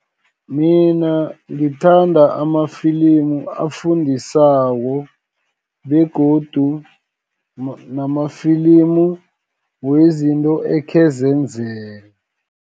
Mina ngithanda amafilimu afundisako, begodu namafilimu wezinto ekhe zenzeka.